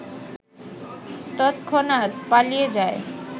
তৎক্ষণাত পালিয়ে যায়